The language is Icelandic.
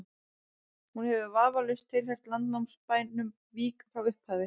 hún hefur vafalaust tilheyrt landnámsbænum vík frá upphafi